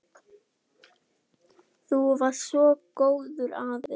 Þú varst svo góður afi.